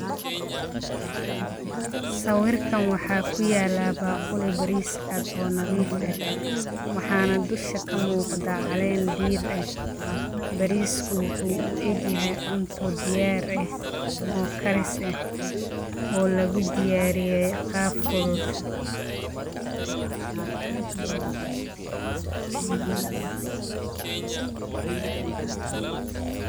Sawirkan waxaa ku yaala baquli bariis caad oo nadiif ah waxaana dusha ka muuqda caleen diir. Bariisku wuxuu u eeg yahay cunto diyaar ah oo kharis ah oo lagu diyaariyay qaab fudud.